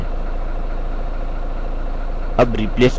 all replace all पर click करें